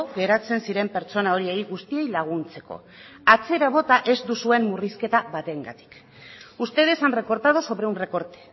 geratzen ziren pertsona horiei guztiei laguntzeko atzera bota ez duzuen murrizketa batengatik ustedes han recortado sobre un recorte